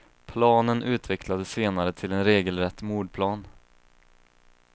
Planen utvecklades senare till en regelrätt mordplan.